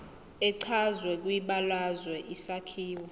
echazwe kwibalazwe isakhiwo